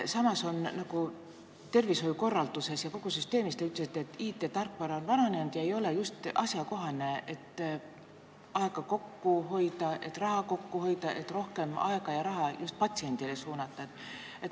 Samas on, nagu te ütlesite, kogu tervishoiukorralduses ja -süsteemis IT-tarkvara vananenud, see ei ole ajakohane ja sellega ei saa kokku hoida aega ega raha, mida rohkem patsiendile suunata.